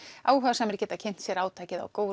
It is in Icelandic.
áhugasamir geta kynnt sér átakið á Go